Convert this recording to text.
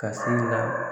Ka se ka